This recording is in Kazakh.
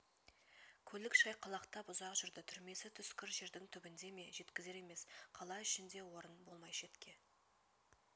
көлік шайқалақтап ұзақ жүрді түрмесі түскір жердің түбінде ме жеткізер емес қала ішінде орын болмай шетке